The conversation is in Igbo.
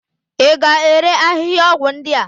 Ị ga-ere ahịhịaọgwụ ndị a?